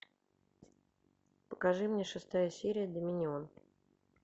покажи мне шестая серия доминион